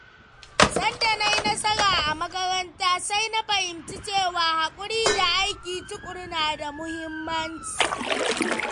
Sanda na yi nasara a makaranta, sai na fahimci cewa haƙuri da aiki tuƙuru na da muhimmanci.